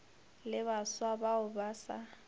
le baswa bao ba sa